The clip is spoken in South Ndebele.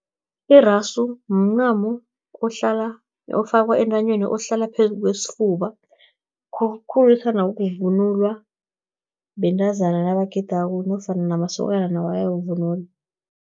Irasu, mncamo ofakwa entanyeni, ohlala phezu kwesifuba, khulukhulu othandwa ukuvunulwa, bentazana nabagidako, nofana namasokana nawo ayawuvunula.